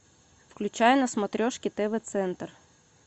включай на смотрешке тв центр